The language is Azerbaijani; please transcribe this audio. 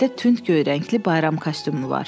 Əynində tünd göy rəngli bayram kostyumu var.